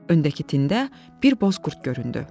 Öndəki tində bir boz qurd göründü.